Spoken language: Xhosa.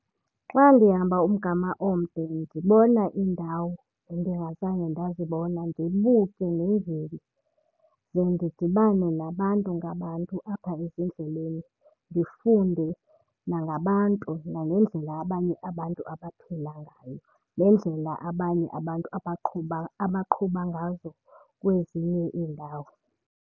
Xa ndihamba umgama omde ndibona iindawo endingazange ndazibona, ndibuke ndenzeni. Ze ndidibane nabantu ngabantu apha ezindleleni, ndifunde nangabantu nangendlela abanye abantu abaphila ngayo nendlela abanye abantu abaqhuba, abaqhuba ngazo kwezinye iindawo.